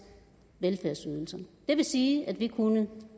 velfærdsydelser det vil sige at vi kunne